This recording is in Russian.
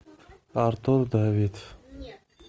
артур давид